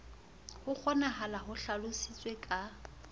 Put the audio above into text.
ho kgonahalang ho hlalositswe ka